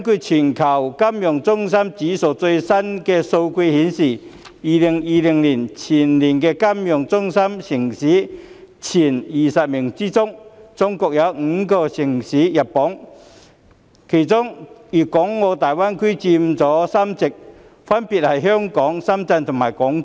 全球金融中心指數的最新數據顯示，在2020年全球金融中心前20名中，中國有5個城市榜上有名，當中大灣區的城市佔據3席，分別是香港、深圳和廣州。